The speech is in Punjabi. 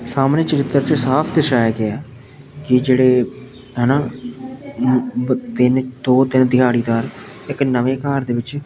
ਸਾਹਮਣੇ ਚਰਿੱਤਰ 'ਚ ਸਾਫ ਦਰਸ਼ਾਇਆ ਗਿਆ ਕਿ ਜਿਹੜੇ ਹੈਣਾਂ ਤਿੰਨ ਦੋ ਤਿੰਨ ਦਿਹਾੜੀਦਾਰ ਇੱਕ ਨਵੇਂ ਘਰ ਦੇ ਵਿੱਚ --